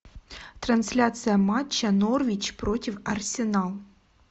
трансляция матча норвич против арсенал